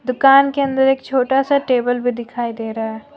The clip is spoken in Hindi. दुकान के अंदर एक छोटा सा टेबल भी दिखाई दे रहा है।